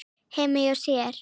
heima hjá sér.